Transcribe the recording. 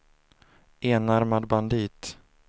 enarmad bandit